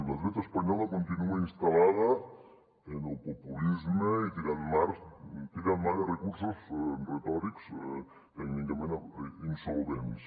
la dreta espanyola continua instal·lada en el populisme i tirant mà de recursos retòrics tècnicament insolvents